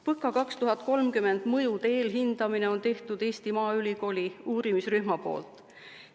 PõKa 2030 mõjude eelhindamine on tehtud Eesti Maaülikooli uurimisrühma poolt.